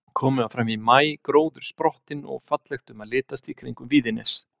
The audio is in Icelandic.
Komið var fram í maí, gróður sprottinn og fallegt um að litast í kringum Víðines.